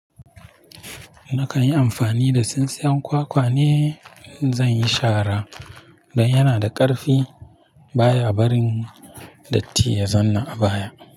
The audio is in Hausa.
Nakan yi amfani da tsintsiyan kwakwa ne in zan yi shara. Don yana da ƙarfi baya barin datti ya zauna a baya.